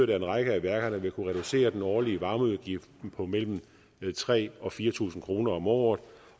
vil en række af værkerne kunne reducere den årlige varmeudgift med mellem tre og fire tusind kroner om året